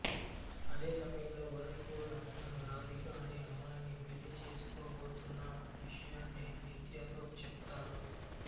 అదే సమయంలో వరుణ్ కూడా తను రాధిక అనే అమ్మాయిని పెళ్ళి పెళ్ళిచేసుకోబోతున్న విషయాన్ని నిత్యతో చెప్తాడు